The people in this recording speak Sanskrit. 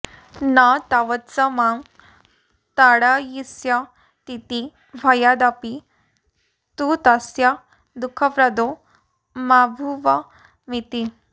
न तावत्स मां ताडयिष्यतीति भयादपि तु तस्य दुःखप्रदो माभूवमिति